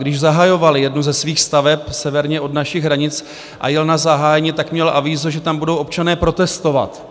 Když zahajovali jednu ze svých staveb severně od našich hranic a jel na zahájení, tak měl avízo, že tam budou občané protestovat.